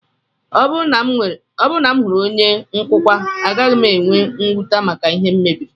Ọ bụrụ na m hụrụ onye nkụkwa, agaghị m enwe mwute maka ihe m mebiri